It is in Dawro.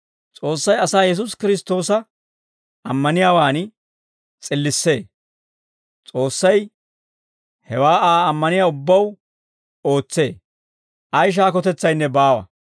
S'oossay asaa Yesuusi Kiristtoosa ammaniyaawaan s'illissee; S'oossay hewaa Aa ammaniyaa ubbaw ootsee; ay shaakotetsaynne baawa.